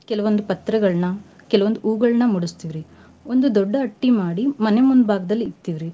ಕೆಲವಂದ್ ಪತ್ರಿಗಳ್ನ ಕೆಲವಂದ್ ಹೂವ್ಗಳ್ನ ಮುಡಸ್ತೇವ್ ರಿ. ಒಂದು ದೊಡ್ಡ ಅಟ್ಟಿ ಮಾಡಿ ಮನೆ ಮುಂಬಾಗ್ದಲ್ ಇಕ್ತಿವ್ರಿ ರಿ.